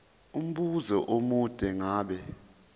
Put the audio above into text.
umbuzo omude ngabe